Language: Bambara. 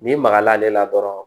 N'i magal'ale la dɔrɔn